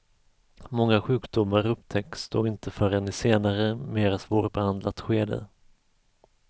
Många sjukdomar upptäcks då inte förrän i senare mera svårbehandlat skede.